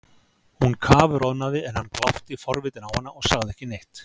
Hún kafroðnaði en hann glápti forvitinn á hana og sagði ekki neitt.